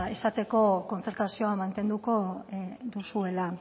esateko kontzertazioa mantenduko duzuela